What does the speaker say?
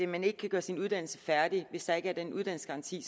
man ikke kan gøre sin uddannelse færdig hvis der ikke er en uddannelsesgaranti